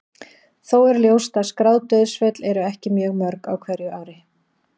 Þó er ljóst að skráð dauðsföll eru ekki mjög mörg á hverju ári.